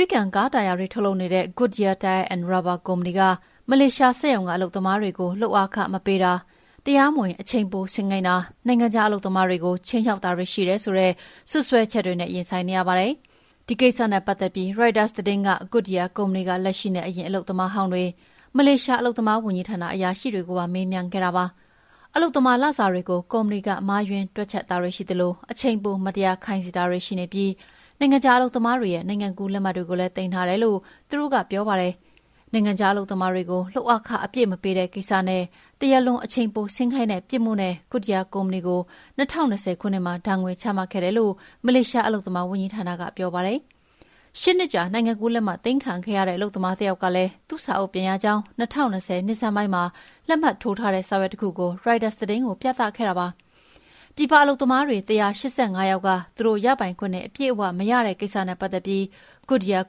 ရိကန်ကားတာယာတွေ ထုတ်လုပ်နေတဲ့ Goodyear Tier & Rubber ကုမ္ပဏီဟာမလေးရှားစက်ရုံက အလုပ်သမားတွေကို လုပ်အားခမပေးတာ၊ တရားမဝင် အချိန်ပိုဆင်းခိုင်းတာ၊ နိုင်ငံခြားအလုပ်သမားတွေကို ခြိမ်းခြောက်တာတွေ ရှိတယ်ဆိုတဲ့ စွပ်စွဲချက်တွေနဲ့ ရင်ဆိုင်နေရပါတယ်။ ဒီကိစ္စနဲ့ပတ်သက်ပြီး ရိုက်တာသတင်းက Goodyear ကုမ္ပဏီက လက်ရှိနဲ့ အရင်အလုပ်သမားဟောင်းတွေ၊ မလေးရှား အလုပ်သမားဝန်ကြီးဌာန အရာရှိတွေကိုပါမေးမြန်းခဲ့တာပါ။ အလုပ်သမား လစာတွေကို ကုမ္ပဏီက မှားယွင်းတွက်ချက်တာတွေ ရှိသလို အချိန်ပိုမတရားခိုင်းစေတာတွေလည်း ရှိနေပြီး နိုင်ငံခြားအလုပ်သမားတွေရဲ့ နိုင်ငံကူးလက်မှတ်တွေကိုလည်း သိမ်းထားတယ်လို သူတို့က ပြောကြပါတယ်။ နိုင်ငံခြားအလုပ်သမားတွေကို လုပ်အားခအပြည့် မပေးတဲ့ကိစ္စနဲ့ တရားလွန် အချိန်ပိုအလုပ်ဆင်းခိုင်းခဲ့တဲ့ ပြစ်မှုနဲ့ Goodyear ကုမ္ပဏီကို ၂၀၂၀ ခုနှစ်မှာ ဒဏ်ငွေချမှတ်ခဲ့တယ်လို့ မလေးရှားအလုပ်သမားဝန်ကြီးဌာနကပြောပါတယ်။ ၈ နှစ်ကြာ နိုင်ငံကူးလက်မှတ်သိမ်းခံခဲ့ရတဲ့ အလုပ်သမားဟောင်း တယောက်ကလည်း သူ့စာအုပ်ပြန်ရကြောင်း ၂၀၂၀ နှစ်ဆန်းပိုင်းမှာ လက်မှတ်ထိုးထားတဲ့ စာရွက်တခုကို ရိုက်တာသတင်းကိုပြသခဲ့ပါတယ်။ ပြည်ပအလုပ်သမားတွေ ၁၈၅ ယောက်က သူတို့ရပိုင်ခွင့်တွေ အပြည့်အဝအရတဲ့ကိစ္စနဲ့ပတ်သက်ပြီး Goodyear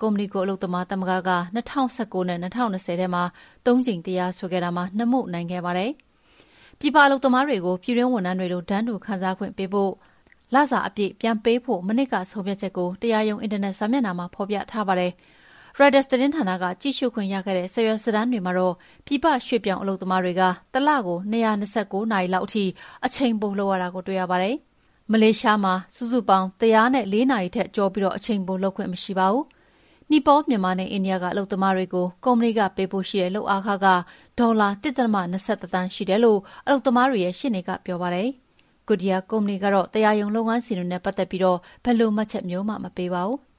ကုမ္ပဏီကို အလုပ်သမားသမဂ္ဂက ၂၀၁၉ နဲ့ ၂၀၂၀ ခုနှစ်ထဲမှာ ၃ ကြိမ်တရားစွဲခဲ့တာမှာ ၂ မှုနိုင်ခဲ့ပါတယ်။ ပြည်ပအလုပ်သမားတွေကို ပြည်တွင်းဝန်ထမ်းတွေလို တန်းတူ ခံစားခွင့်ပေးဖို့၊ လစာတွေအပြည့်ပြန်ပေးဖို့ မနှစ်က ဆုံးဖြတ်ချက်ကို တရားရုံးအင်တာနက်စာမျက်နှာမှာ ဖော်ပြထားပါတယ်။ ရိုက်တာသတင်းဌာနက ကြည့်ရှုခွင့်ရခဲ့တဲ့ စာရွက်စာတမ်းတွေမှာတော့ ပြည်ပရွှေ့ပြောင်းအလုပ်သမားတွေက တလကို ၂၂၉ နာရီလောက်ထိ အချိန်ပိုလုပ်ရတာကို တွေ့ရပါတယ်။ မလေးရှားမှာ နာရီ ၁၀၄ နာရီထက်ကျော်ပြီး အချိန်ပိုအလုပ်လုပ်ခွင့် မရှိပါဘူး။ နီပေါလ်၊ မြန်မာနဲ့ အိန္ဒိယက အလုပ်သမားတွေကို ကုမ္ပဏီက ပေးဖို့ရှိတဲ့ လုပ်အားခက ဒေါ်လာ ၁.၂၁ သန်းရှိတယ်လို့ အလုပ်သမားတွေရဲ့ရှေ့နေကပြောပါတယ်။ Goodyear ကုမ္ပဏီကတော့ တရားရုံးလုပ်ငန်းစဉ်တွေနဲ့ ပတ်သက်ပြီး ဘယ်လိုမှတ်ချက်မျိုးမှာ မပေးပါဘူး။